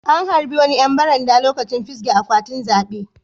An harba wani yan baranda lokacin fisge akwatin zabe.